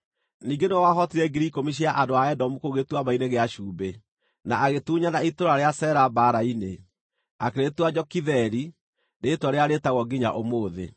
Ningĩ nĩwe wahootire 10,000 cia andũ a Edomu kũu Gĩtuamba-inĩ gĩa Cumbĩ, na agĩtunyana itũũra rĩa Sela mbaara-inĩ, akĩrĩtua Jokitheeli, rĩĩtwa rĩrĩa rĩĩtagwo nginya ũmũthĩ.